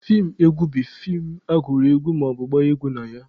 Feem egwu bụ feem agụrụ egwu maọbụ gbaa egwu na ya.